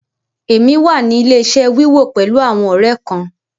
Èmi wà ní ilẹ̀-iṣẹ̀ wíwo pẹ̀lú àwọn ọ̀rẹ́ kán.